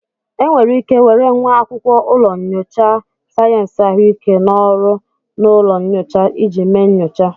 Enwere ike were nwa akwụkwọ ụlọ nyocha sayensị ahụike n'ọrụ n'ụlọ nyocha iji mee nyocha